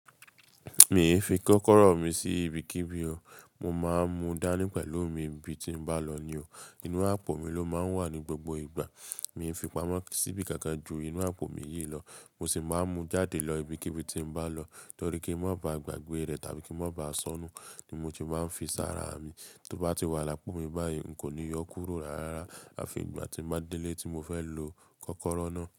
Mi ò fi kọ́kọ́rọ́ mi sí ibikíbi o. Mo máa ń mú dání pẹ̀lú mi ibi tí bá lọ ni o. Inú àpò mi ló máa ń wà ní gbogbo ìgbà. Mi ò fi pamọ́ síbí kankan ju inú àpò mi yìí lọ. Mo sì máa ń mú jáde lọ ibikíbi tí mo bá lọ torí kí ń má ba à gbàgbé rẹ̀ tàbí kí ń má ba à sọnù ni mo ti máa ń fi sára mi. Tó bá ti wà lápò mi báyìí, n kò ní yọ kúrò rárá àfi ìgbà tí mo bá délé tí mo fẹ́ lo kọ́kọ́rọ́ náà.